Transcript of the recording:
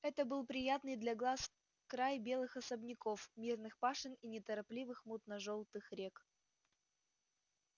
это был приятный для глаз край белых особняков мирных пашен и неторопливых мутно-жёлтых рек